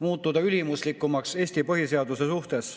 muutuda ülimuslikumaks Eesti põhiseaduse suhtes.